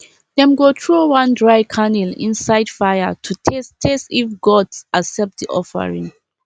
dem go throw one dry kernel inside fire to test test if gods accept the offering